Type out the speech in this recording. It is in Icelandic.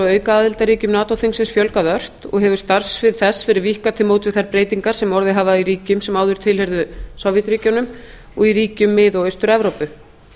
og aukaaðildarríkjum nato þingsins fjölgað ört og hefur starfssvið þess verið víkkað til móts við þær breytingar sem orðið hafa í ríkjum sem áður tilheyrðu sovétríkjunum og í ríkjum mið og austur evrópu